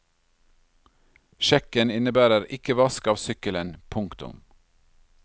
Sjekken innebærer ikke vask av sykkelen. punktum